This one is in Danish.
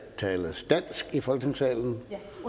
tales dansk i folketingssalen